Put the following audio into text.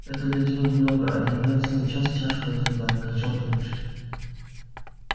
это для тебя немного а для меня целый час тяжкого труда кричал филч